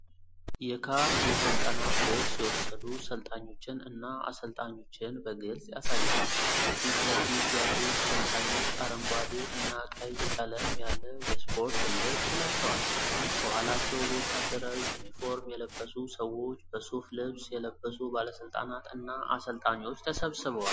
ካፍ የስልጠና ኮርስ የወሰዱ ሠልጣኞችን እና አሰልጣኞችን በግልጽ ያሳያል። የፊት ለፊት ያሉት ሰልጣኞች አረንጓዴ እና ቀይ ቀለም ያለው የስፖርት ልብስ ለብሰዋል። ከኋላቸው በወታደራዊ ዩኒፎርም የለበሱ ሰዎች፣ በሱፍ ልብስ የለበሱ ባለስልጣናት እና አሰልጣኞች ተሰብስበዋል።